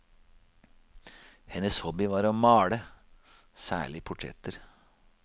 Hennes hobby var å male, særlig portretter.